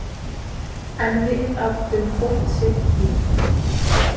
En við áttum hvort sitt líf.